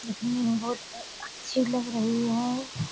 दिखने में बहुत अच्छी लग रही है।